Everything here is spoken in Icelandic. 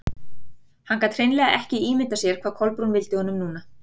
Hann gat hreinlega ekki ímyndað sér hvað Kolbrún vildi honum núna.